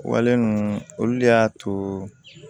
Wale ninnu olu de y'a to